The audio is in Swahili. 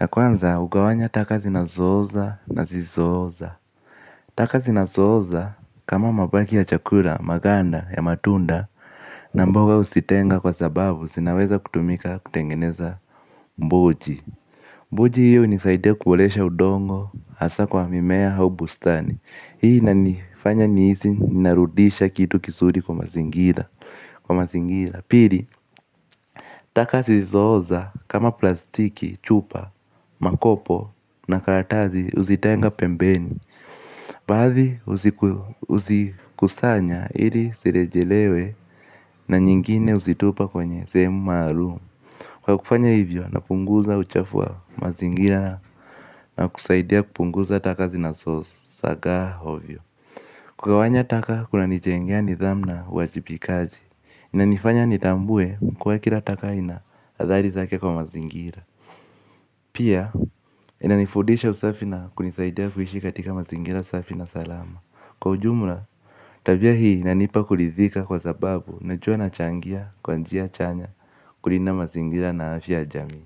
Ya kwanza, hugawanya taka zinazooza na zisizooza. Taka zinazooza kama mabaki ya chakula, maganda ya matunda na mboga huzitenga kwa sababu zinaweza kutumika kutengeneza mboji. Buji hiyo hunisaidia kuboresha udongo hasa kwa mimea au bustani. Hii inanifanya nihisi narudisha kitu kizuri kwa mazingira kwa mazingira. Pili, taka zisizooza kama plastiki chupa, makopo na karatasi huzitenga pembeni. Baadhi huzikusanya ili zirejelewe na nyingine huzitupa kwenye sehemu maalum. Kwa kufanya hivyo, napunguza uchafu wa mazingira na kusaidia kupunguza taka zinazo, zagaa, ovyo. Kugawanya taka, kunanijengea nidhamu na uwajibikaji. Inanifanya nitambue kuwa kila taka ina, athari zake kwa mazingira. Pia, inanifundisha usafi na kunisaidia kuishi katika mazingira safi na salama. Kwa ujumla, tabia hii inanipa kuridhika kwa sababu najua nachangia, kwa njia chanya, kulinda mazingira na afya ya jamii.